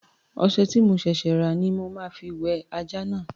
Ọṣẹ tí mo ṣẹ̀ṣẹ̀ rà ní mo ma fi wẹ ajá náà